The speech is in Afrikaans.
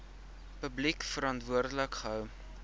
publiek verantwoordelik gehou